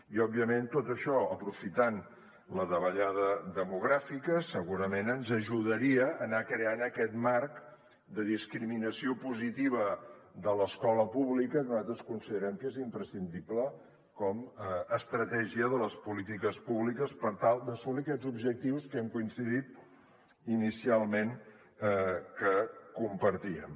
i òbviament tot això aprofitant la davallada demogràfica segurament ens ajudaria a anar creant aquest marc de discriminació positiva de l’escola pública que nosaltres considerem que és imprescindible com a estratègia de les polítiques públiques per tal d’assolir aquests objectius que hem coincidit inicialment que compartíem